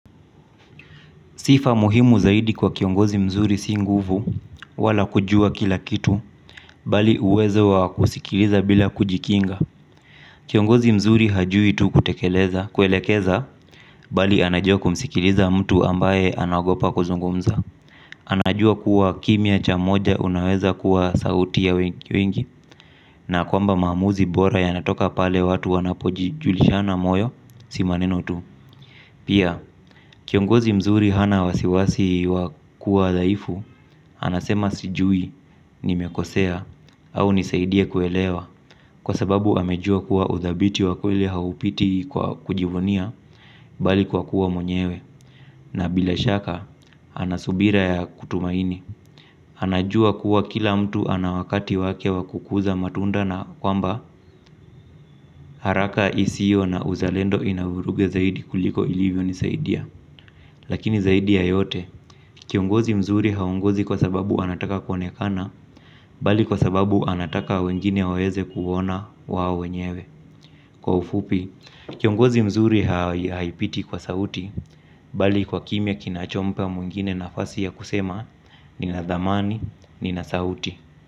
Sifa muhimu zaidi kwa kiongozi mzuri si nguvu wala kujua kila kitu, bali uwezo wa kusikiliza bila kujikinga. Kiongozi mzuri hajui tu kutekeleza, kuelekeza bali anajua kumsikiliza mtu ambaye anaogopa kuzungumza. Anajua kuwa kimya cha mmoja unaweza kuwa sauti ya wengi, na kwamba maamuzi bora yanatoka pale watu wanapojijulishana moyo, si maneno tu. Pia, kiongozi mzuri hana wasiwasi wa kuwa dhaifu, anasema sijui, nimekosea au nisaidie kuelewa. Kwa sababu amejua kuwa udhabiti wa kweli haupiti kwa kujivunia bali kwa kuwa mwenyewe. Na bila shaka, anasubira ya kutumaini. Anajua kuwa kila mtu ana wakati wake wa kukuza matunda na kwamba haraka isio na uzalendo ina vuruga zaidi kuliko ilivyonisaidia. Lakini zaidi ya yote, kiongozi mzuri haongozi kwa sababu anataka kuonekana, bali kwa sababu anataka wengine waweze kuona wao wenyewe. Kwa ufupi, kiongozi mzuri haipiti kwa sauti, bali kwa kimya kinachompa mwingine nafasi ya kusema, nina dhamani, nina sauti.